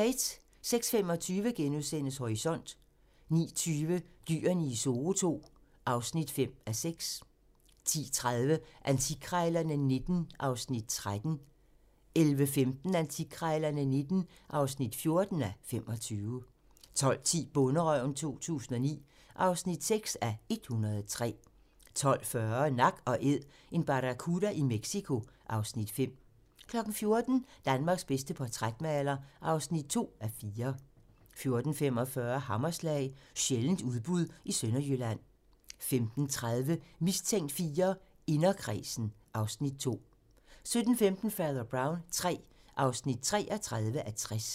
06:25: Horisont * 09:20: Dyrene i Zoo II (5:6) 10:30: Antikkrejlerne XIX (13:25) 11:15: Antikkrejlerne XIX (14:25) 12:10: Bonderøven 2009 (6:103) 12:40: Nak & Æd - en barracuda i Mexico (Afs. 5) 14:00: Danmarks bedste portrætmaler (2:4) 14:45: Hammerslag - sjældent udbudt i Sønderjylland 15:30: Mistænkt IV: Inderkredsen (Afs. 2) 17:15: Fader Brown III (33:60)